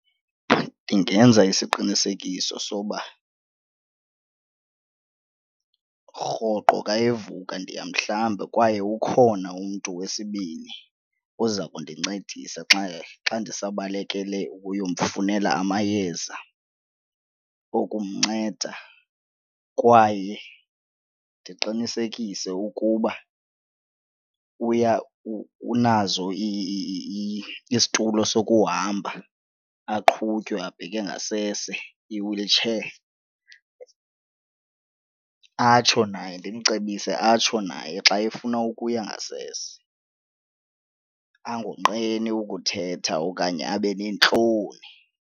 Ndingenza isiqinisekiso soba rhoqo xa evuka ndiyamhlamba kwaye ukhona umntu wesibini oza kundincedisa xa xa ndisabalekele ukuyomfunela amayeza okumnceda kwaye ndiqinisekise ukuba unazo isitulo sokuhamba aqhutywe abheke ngasese, i-wheelchai. Atsho naye, ndimcebise atsho naye xa efuna ukuya ngasese angonqeni ukuthetha okanye abe neentloni.